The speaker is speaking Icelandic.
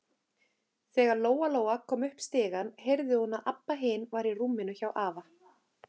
Þegar Lóa-Lóa kom upp stigann heyrði hún að Abba hin var í rúminu hjá afa.